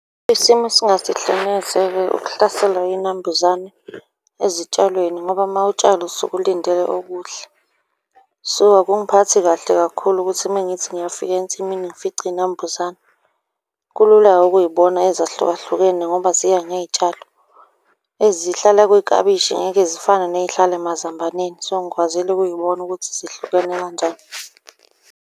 Isimo esingasihle neze-ke ukuhlaselwa yinambuzane ezitshalweni ngoba uma utshala usuke ulindele okuhle. So, akungiphathi kahle kakhulu ukuthi uma ngithi ngiyafika ensimini ngifice iy'nambuzane. Kulula-ke ukuy'bona ezahlukahlukene ngoba ziya ngey'tshalo. Ezihlala kwiklabishi ngeke zifane ney'hlala emazambaneni. So, ngikwazile ukuy'bona ukuthi zihlukene kanjani.